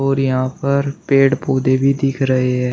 और यहां पर पेड़ पौधे भी दिख रहे ऐं ।